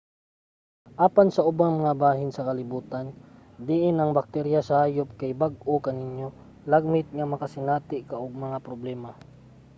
apan sa ubang mga bahin sa kalibutan diin ang bakterya sa hayop kay bag-o kaninyo lagmit nga makasinati ka og mga problema